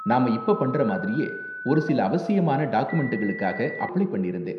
நாம இப்ப பண்ற மாதிரியே ஒரு சில அவசியமான டாக்குமெண்டுகளுக்காக அப்ளை பண்ணிருந்தேன்.